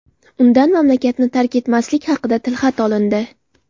Undan mamlakatni tark etmaslik haqida tilxat olindi.